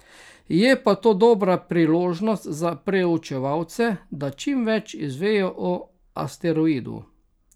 Je pa to dobra priložnost za preučevalce, da čim več izvejo o asteroidu.